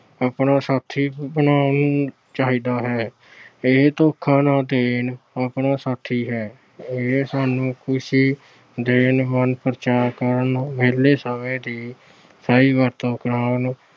ਆਪਣਾ ਸਾਥੀ ਬਣਾਉਣਾ ਚਾਹੀਦਾ ਹੈ। ਇਹ ਧੋਖਾ ਨਾ ਦੇਣ ਵਾਲਾ ਸਾਥੀ ਹੈ। ਇਹ ਸਾਨੂੰ ਖੁਸ਼ੀ ਦੇਣ, ਮਨ-ਪਰਚਾਵਾਂ ਕਰਨ, ਵਿਹਲੇ ਸਮੇਂ ਦੀ ਸਹੀ ਵਰਤੋਂ ਕਰਨ,